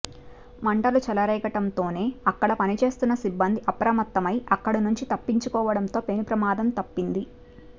మంటలు చెలరేగడంతోనే అక్కడ పనిచేస్తున్న సిబ్బంది అప్రమత్తమై అక్కడినుంచి తప్పించుకోవడంతో పెనుప్రమాదం తప్పింది